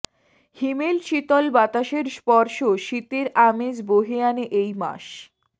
হিমেল শীতল বাতাসের স্পর্শ শীতের আমেজ বহে আনে এই মাস